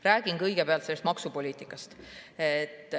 Räägin kõigepealt sellest maksupoliitikast.